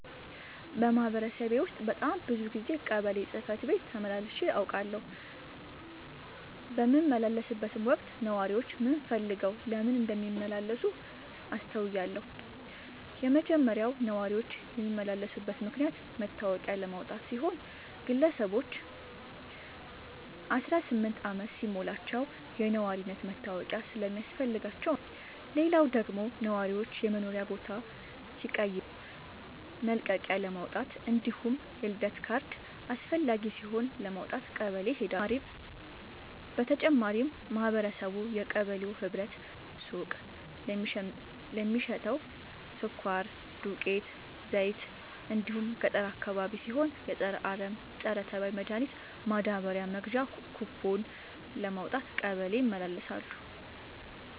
በማህበረሰቤ ውስጥ በጣም ብዙ ጊዜ ቀበሌ ጽህፈት ቤት ተመላልሼ አውቃለሁ። በምመላለስበትም ወቅት ነዋሪዎች ምን ፈልገው ለምን እንደሚመላለሱ አስተውያለሁ የመጀመሪያው ነዋሪዎች የሚመላለሱበት ምክንያት መታወቂያ ለማውጣት ሲሆን ግለሰቦች አስራስምንት አመት ሲሞላቸው የነዋሪነት መታወቂያ ስለሚያስፈልጋቸው ነው። ሌላው ደግሞ ነዋሪዎች የመኖሪያ ቦታ ሲቀይሩ መልቀቂያለማውጣት እንዲሁም የልደት ካርድ አስፈላጊ ሲሆን ለማውጣት ቀበሌ ይሄዳሉ። በተጨማሪም ማህበረቡ የቀበሌው ህብረት ሱቅ ለሚሸተው ስኳር፣ ዱቄት፣ ዘይት እንዲሁም ገጠር አካባቢ ሲሆን የፀረ አረም፣ ፀረተባይ መድሀኒት ማዳበሪያ መግዣ ኩቦን ለማውጣት ቀበሌ ይመላለሳሉ።